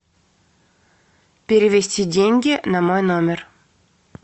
перевести деньги на мой номер